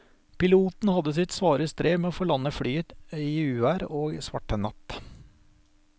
Piloten hadde sitt svare strev med å få landet flyet i uvær og svart natt.